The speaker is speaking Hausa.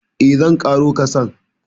Eh, zan ƙaro kasan.